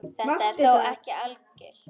Þetta er þó ekki algilt.